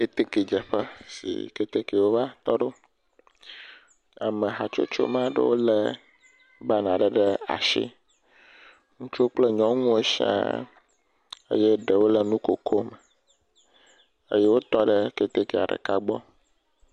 Ketekedzeƒe si ketekewo va tɔ ɖo. amehatsotso, ma ɖewo lé banaa ɖe ashi. Ŋutsuwo kple nyɔnuwo shiãaa. Eye ɖewo le nukokome eye wotɔ ɖe ketekea ɖeka gbɔ.